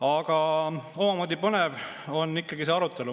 Aga omamoodi põnev on ikkagi see arutelu.